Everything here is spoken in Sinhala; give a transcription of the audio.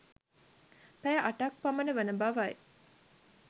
පැය 8ක් පමණ වන බවයි